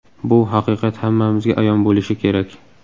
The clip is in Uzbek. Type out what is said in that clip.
Bu haqiqat hammamizga ayon bo‘lishi kerak.